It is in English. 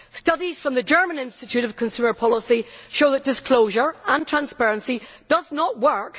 Studies by the German Institute of Consumer Policy show that disclosure and transparency do not work.